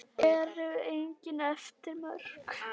En eru engin efri mörk?